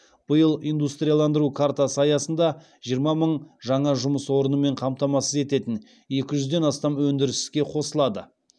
биыл индустрияландыру картасы аясында жиырма мың жаңа жұмыс орнымен қамтамасыз ететін екі жүзден астам өндіріс іске қосылады